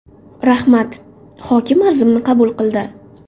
Rahmat, hokim arzimni qabul qildi.